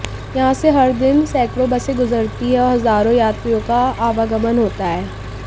यहां से हर दिन सैकड़ों बसें गुजरती हैं और हजारों यात्रियों का आवागमन होता है